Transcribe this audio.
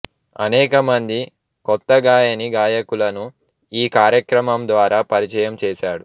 అనేక మంది కొత్త గాయనీ గాయకులను ఈ కార్యక్రమం ద్వారా పరిచయం చేసాడు